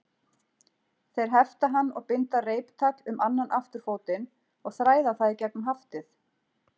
Þeir hefta hann og binda reiptagl um annan afturfótinn og þræða það í gegnum haftið.